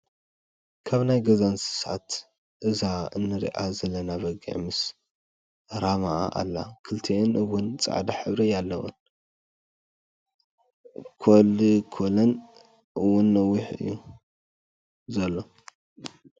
ካብ ናይ ገዛ እንስሳት እዛ እንረኣ ዘለና በጊዕ ምስ ረማኣ ኣላ፣ ክልቲኣን ሕውን ፃዕዳ ሕብሪ ኣለወን ኮልኮለን እወን ነዊሕ እዩ ዘሎ።